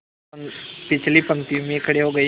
पिछली पंक्ति में खड़े हो गए